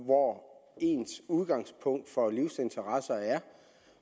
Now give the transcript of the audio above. hvor ens udgangspunkt for livsinteresser er